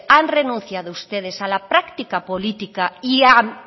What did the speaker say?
han renunciado ustedes a la práctica política y a